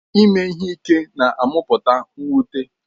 Ime ihe ike na-amụpụta mwute.